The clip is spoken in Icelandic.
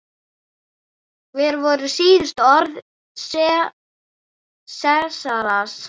Hver voru síðustu orð Sesars?